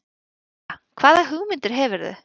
Helga: Hvaða hugmyndir hefurðu?